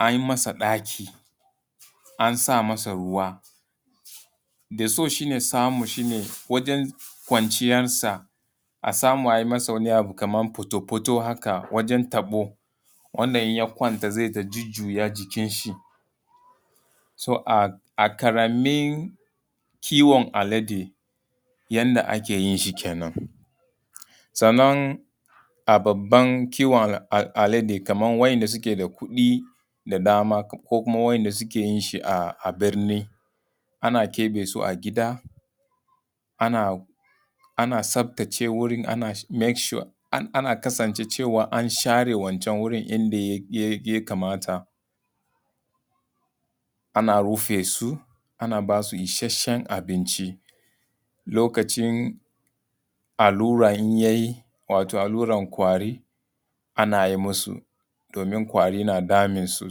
an yi masa ɗaki, an sa masa ruwa. Da so shine samu shi ne wajan kwanciyasa a samu a yi masa wani abu haka kamar fatofato haka wajan taɓo wanda in ya kwanta zai ta jujjuya jikin shi. So a ƙaramin kiwon alade yanda ake yin shi kenan. Sannan a baban kiwon alade kamar wa'inda suke da kuɗi da dama ko kuma wa'inda suke yin shi a birni ana keɓe su a gida, ana tsaftace wurin ana kasance an share wancan wurin inda ya kamata. ana rufe su, ana ba su isheshen abinci, lokacin allura in ya yi wato allurar ƙwari ana yi masu domin ƙwari na damun su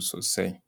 sosai.